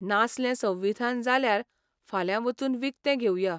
नासलें संविधान जाल्यार फाल्यां वचून विकतें घेवया.